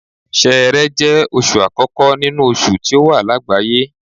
Ṣẹẹrẹ jẹ́ oṣù àkókò nínú oṣù tí ó wà lágbàáyé.